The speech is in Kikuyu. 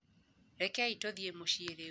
Rekei tũthiĩ mũciĩ rĩu.